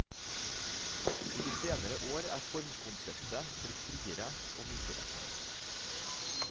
I de senere år er formkonseptet blitt friere og mykere.